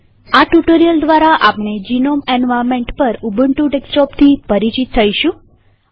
આ ટ્યુ્ટોરીઅલ દ્વારાઆપણે GNOME environment પર ઉબુન્ટુ ડેસ્કટોપથી પરિચિત થઇશું